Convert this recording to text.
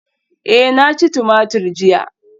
Eh na ci tumatur jiya